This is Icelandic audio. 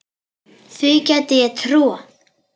Því gæti ég trúað